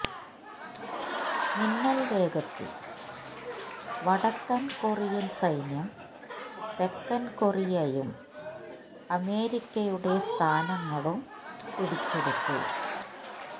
മിന്നൽ വേഗത്തിൽ വടക്കൻ കൊറിയൻ സൈന്യം തെക്കൻ കൊറിയയും അമേരിക്കയുടെ സ്ഥാനങ്ങളും പിടിച്ചെടുത്തു